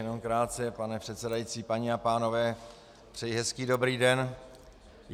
Jenom krátce, pane předsedající, paní a pánové, přeji hezký dobrý den.